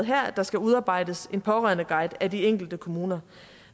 her at der skal udarbejdes en pårørendeguide af de enkelte kommuner